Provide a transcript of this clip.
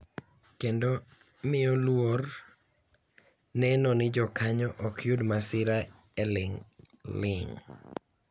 Kendo miyo luor neno ni jokanyo ok yud masira e ling’ling’.